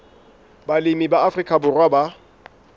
balemi ba afrika borwa ba